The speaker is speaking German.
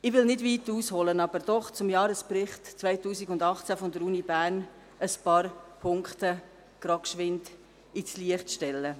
Ich will nicht weit ausholen, möchte aber doch zum Jahresbericht 2018 der Universität Bern ein paar Punkte kurz ins Licht stellen.